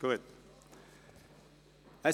– Das ist der Fall.